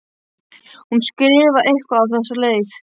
Hún skrifar eitthvað á þessa leið: